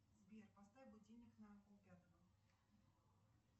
сбер поставь будильник на пол пятого